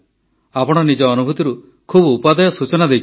ଆପଣ ନିଜ ଅନୁଭୂତିରୁ ଖୁବ ଉପାଦେୟ ସୂଚନା ଦେଇଛନ୍ତି